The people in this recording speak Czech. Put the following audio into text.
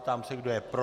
Ptám se, kdo je pro?